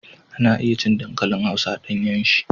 Ana iya cin dankalin hausa a ɗanyen sa.